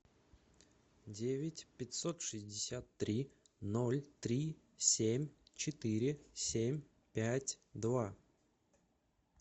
девять пятьсот шестьдесят три ноль три семь четыре семь пять два